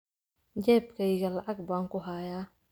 jeebkayga lacag baan ku hayaa